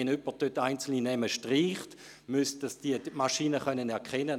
Wenn jemand einzelne Namen gestrichen hat, müsste es die Maschine erkennen können.